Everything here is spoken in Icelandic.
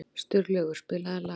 Sturlaugur, spilaðu lag.